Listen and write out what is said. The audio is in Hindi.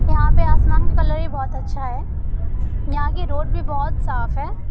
यहाँ पे आसमान का कलर भी बोहत अच्छा है यहाँ की रोड भी बोहत साफ है।